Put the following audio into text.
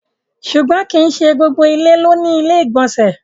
Ṣùgbọ́n kí í ṣé gbogbo ilẹ̀ ló ni ilẹ̀-ìgbọ̀nsẹ̀.